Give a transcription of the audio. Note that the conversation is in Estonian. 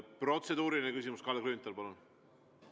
Protseduuriline küsimus, Kalle Grünthal, palun!